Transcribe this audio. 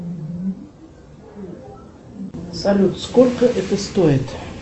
салют сколько это стоит